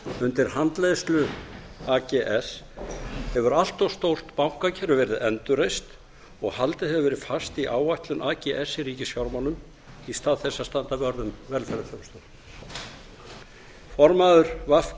undir handleiðslu ags hefur allt of stór bankakerfi verið endurreist og haldið hefur verið fast í áætlun ags í ríkisfjármálum í stað þess að standa vörð um velferðarþjónustuna formaður v